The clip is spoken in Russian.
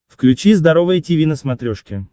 включи здоровое тиви на смотрешке